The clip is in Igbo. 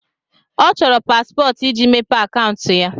Ọ chọrọ paspọtụ iji mepee akaụntụ ya.